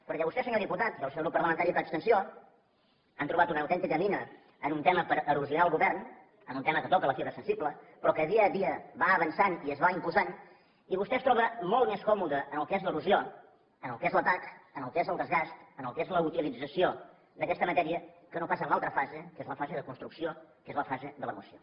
perquè vostè senyor diputat i el seu grup parlamentari per extensió ha trobat una autèntica mina en un tema per erosionar el govern en un tema que toca la fibra sensible però que dia a dia va avançant i es va imposant i vostè es troba molt més còmode en el que és l’erosió en el que és l’atac en el que és el desgast en el que és la utilització d’aquesta matèria que no pas en l’altra fase que és la fase de construcció que és la fase de la moció